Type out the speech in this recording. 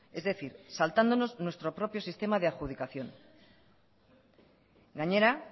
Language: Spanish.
es decir saltándonos nuestro propio sistema de adjudicación gainera